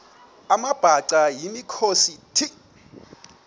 amabhaca yimikhosi the